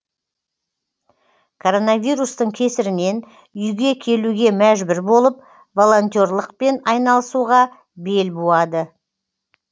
коронавирустың кесірінен үйге келуге мәжбүр болып волонтерлықпен айналысуға бел буады